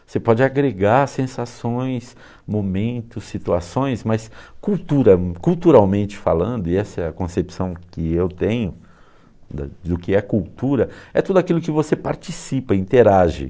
Você pode agregar sensações, momentos, situações, mas cultura, culturalmente falando, e essa é a concepção que eu tenho do que é cultura, é tudo aquilo que você participa, interage.